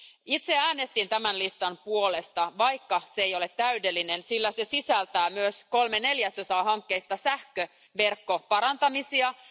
Itse äänestin tämän listan puolesta, vaikka se ei ole täydellinen, sillä se sisältää myös kolme neljäsosaa sähköverkkojen parantamishankkeita.